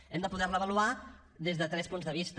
hem de poder la avaluar des de tres punts de vista